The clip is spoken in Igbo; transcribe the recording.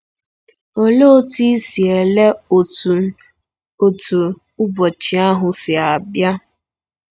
Olee otú i si ele otú otú ụbọchị ahụ si bịa?